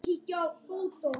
Allt lesefni var á þýsku.